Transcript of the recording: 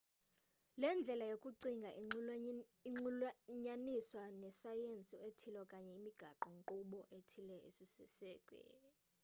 le ndlela yokucinga inxulunyaniswa nesayensi ethile okanye imigaqo nkqubo ethile esisiseko